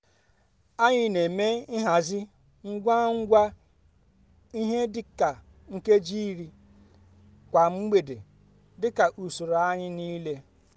anyị n'eme nhazi ngwa ngwa ihe di ka nkeji iri kwa mgbede dika usoro anyi niile